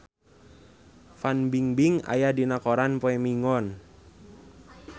Fan Bingbing aya dina koran poe Minggon